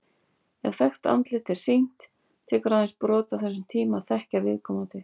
Ef þekkt andlit er sýnt, tekur aðeins brot af þessum tíma að þekkja viðkomandi.